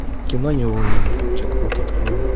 кино неуловимые джекпот открой